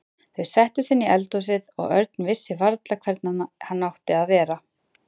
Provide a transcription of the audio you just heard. Þau settust inn í eldhúsið og Örn vissi varla hvernig hann átti að vera.